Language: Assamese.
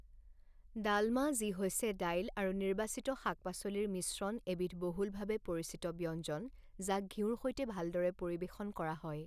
ডালমা যি হৈছে দাইল আৰু নিৰ্বাচিত শাক পাচলিৰ মিশ্ৰণ এবিধ বহুলভাৱে পৰিচিত ব্যঞ্জন যাক ঘিউৰ সৈতে ভালদৰে পৰিবেশন কৰা হয়।